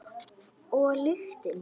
Og lyktin.